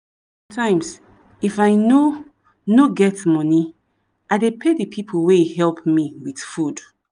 times if i no no get money i dey pay the people wey help me with food.